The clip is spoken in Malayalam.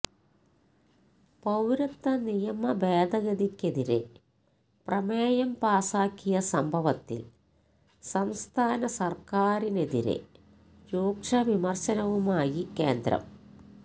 പൌരത്വ നിയമഭേദഗതിക്കെതിരെ പ്രമേയം പാസാക്കിയ സംഭവത്തിൽ സംസ്ഥാന സർക്കാരിനെതിരെ രൂക്ഷ വിമർശനവുമായി കേന്ദ്രം